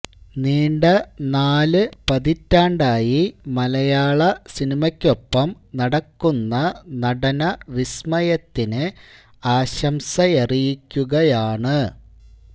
നീണ്ട നാല് പതിറ്റാണ്ടായി മലയാള സിനിമയ്ക്കൊപ്പം നടക്കുന്ന നടന വിസ്മയത്തിന് ആശംസയറിയിക്കുകയാണ്